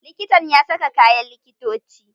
Likitan ya saka kayan likitoci?